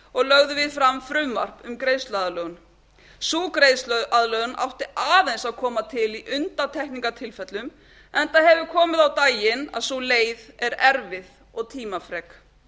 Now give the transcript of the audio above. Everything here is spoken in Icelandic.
og lögðum við fram frumvarp um greiðsluaðlögun sú greiðsluaðlögun átti aðeins að koma til í undantekningartilfellum enda hefur komið á daginn að sú leið er erfið og tímafrek